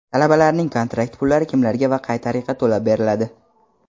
Talabalarning kontrakt pullari kimlarga va qay tariqa to‘lab beriladi?.